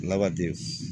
Labde